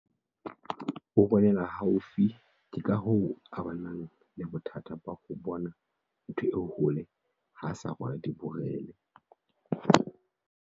O bonela haufi ke ka hoo a bang le bothata ba ho bona ntho e hole ha a sa rwala diborele.